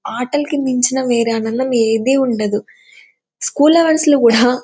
ఆటల్కిమించిన వేరే ఆనందం ఏది ఉండదు స్కూల్ హౌర్స్ లో కూడా--